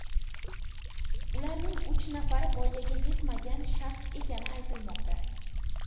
Ularning uch nafari voyaga yetmagan shaxs ekani aytilmoqda.